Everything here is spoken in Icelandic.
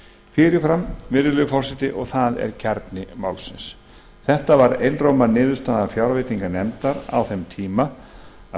fyrir fram virðulegi forseti og það er kjarni málsins þetta var einróma niðurstaða fjárveitinganefndar á þeim tíma að